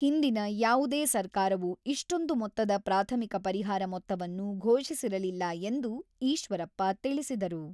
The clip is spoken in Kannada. ಹಿಂದಿನ ಯಾವುದೇ ಸರ್ಕಾರವು ಇಷ್ಟೊಂದು ಮೊತ್ತದ ಪ್ರಾಥಮಿಕ ಪರಿಹಾರ ಮೊತ್ತವನ್ನು ಘೋಷಿಸಿರಲಿಲ್ಲ ಎಂದು ಈಶ್ವರಪ್ಪ ತಿಳಿಸಿದರು.